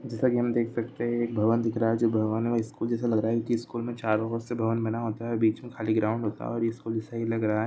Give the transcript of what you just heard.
जैसा कि हम देख सकते हैं एक भवन दिख रहा है जो भवन है स्कूल जैसा लग रहा है क्युकी स्कूल में चारों और से भवन बना होता हैं बीच मे खाली ग्राउंड होता है और यह स्कूल सही लग रहा है।